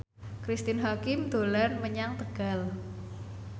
Cristine Hakim dolan menyang Tegal